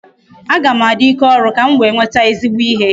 Aga m adị ike ọrụ ka m wee nweta ezigbo ihe